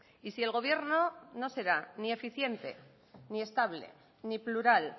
y si el gobierno no será ni eficiente ni estable ni plural